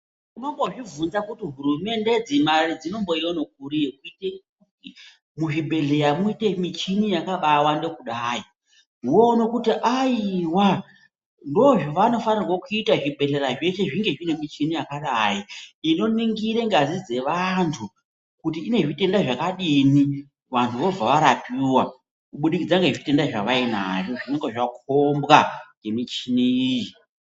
Unombozvibvunza kuti hurumende idzi, Mari dzinomboiona kuri yekuite kuti muzvibhodhlera muite michini yakabawanda kudai , woona kuita aiwa ndozvavanofanira kuita zvibhedhlera zveshe zvinge zvine muchini yakadai inoningire ngazi dzevantu ,kuti ine zvitenda zvakadini wanhu vobva varapiwa kubudikidza nezvitenda zvavainazvo ,zvinonga zvakombwa ngemichini iyi.